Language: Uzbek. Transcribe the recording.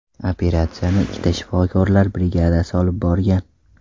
Operatsiyani ikkita shifokorlar brigadasi olib borgan.